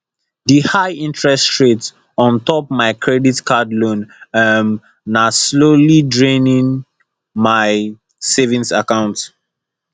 di highinterest rate on top mai credit card loan um na slowly draining mai savings account